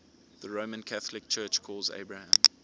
the roman catholic church calls abraham